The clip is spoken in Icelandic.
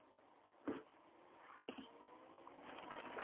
Þá gafst ég upp.